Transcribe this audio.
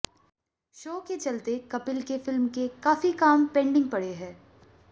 show के चलते कपिल के फिल्म के काफी काम पेंडिग पड़े हैं